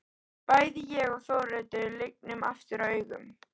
Bæði ég og Þórhildur lygnum aftur augunum.